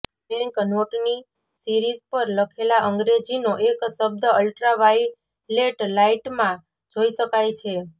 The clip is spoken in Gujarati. બેંક નોટની સીરિઝ પર લખેલા અંગ્રેજીનો એક શબ્દ અલ્ટ્રાવાયલેટ લાઇટમાં જોઇ શકાય છે